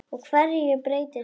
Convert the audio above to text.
Og hverju breytir það?